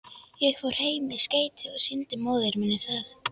Ég fór heim með skeytið og sýndi móður minni það.